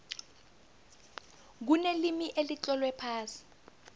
kunelimi elitlolwe phasi